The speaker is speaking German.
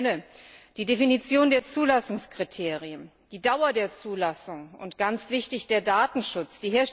Ich nenne die Definition der Zulassungskriterien, die Dauer der Zulassung und ganz wichtig den Datenschutz.